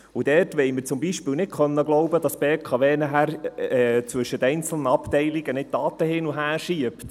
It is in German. Dort wollen wir zum Beispiel nicht glauben können, dass die BKW nachher zwischen einzelnen Abteilungen nicht Daten hin und her schiebt.